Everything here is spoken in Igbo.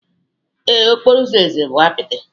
Ee, okporo ụzọ eze bụ apịtị